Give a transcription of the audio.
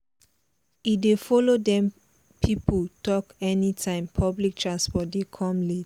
e dey follow dem people talk anytime public transport dey come late